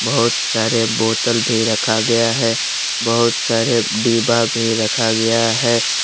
बहोत सारे बोतल भी रखा गया है बहोत सारे डिब्बा भी रखा गया है।